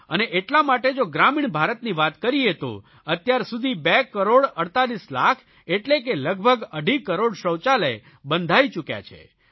અને એટલા માટે જો ગ્રામીણ ભારતની વાત કરીએ તો અત્યાર સુધી બે કરોડ 48 લાખ એટલે કે લગભગ અઢી કરોડ શૌચાલય બંધાઇ ચૂક્યા છે